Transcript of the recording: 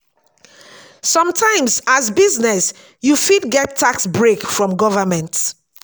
sometimes as business you fit get tax break from government